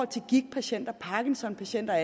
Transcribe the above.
til gigtpatienter parkinsonpatienter og